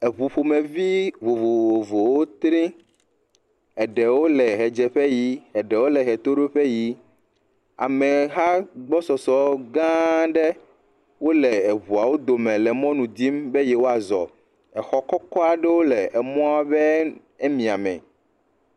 Eŋu ƒomevi vovovowo tri, eɖewo le ʋedzeƒe yim, eɖewo le ʋetoɖoƒe yim, ameha gbɔsɔsɔ gã aɖe wole eŋuawo dome le mɔnu dim be yewoazɔ, exɔ kɔkɔ aɖewo le emɔa be mia me.